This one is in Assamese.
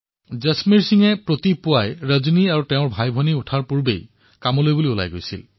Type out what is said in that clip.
জসমেৰ সিঙে খুব ৰাতিপুৱাই ৰজনী আৰু তেওঁৰ ভায়েক বিচনাৰ পৰা শুই উঠাৰ আগেয়েই কামলৈ গুচি যায়